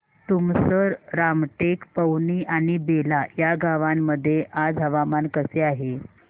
तुमसर रामटेक पवनी आणि बेला या गावांमध्ये आज हवामान कसे आहे